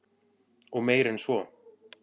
Og meir en svo.